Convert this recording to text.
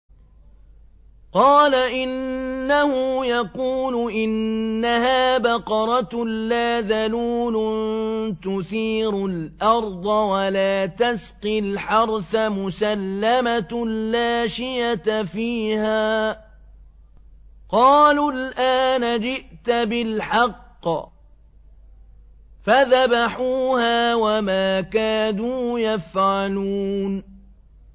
قَالَ إِنَّهُ يَقُولُ إِنَّهَا بَقَرَةٌ لَّا ذَلُولٌ تُثِيرُ الْأَرْضَ وَلَا تَسْقِي الْحَرْثَ مُسَلَّمَةٌ لَّا شِيَةَ فِيهَا ۚ قَالُوا الْآنَ جِئْتَ بِالْحَقِّ ۚ فَذَبَحُوهَا وَمَا كَادُوا يَفْعَلُونَ